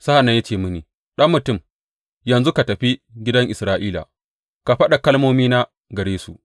Sa’an nan ya ce mini, Ɗan mutum, yanzu ka tafi gidan Isra’ila ka faɗa kalmomina gare su.